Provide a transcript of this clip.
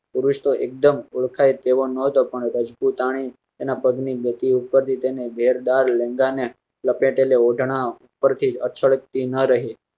પુરુસ તોહ એકદમ ઉદખાય તેવો નતો પણ રજપૂતાણી એના પગ ની ગતિ ઉપરથી ને ઘેર દાર લેંઘા ને લપેટેલ એવો છોડ તી ન રહે.